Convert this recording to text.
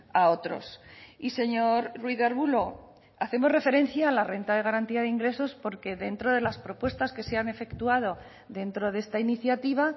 a otros y señor ruiz de arbulo hacemos referencia a la renta de garantía de ingresos porque dentro de las propuestas que se han efectuado dentro de esta iniciativa